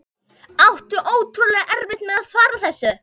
Átti ótrúlega erfitt með að svara þessu.